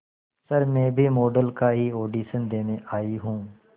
sir मैं भी model का ही ऑडिशन देने आई हूं